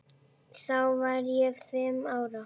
Þá var ég fimm ára.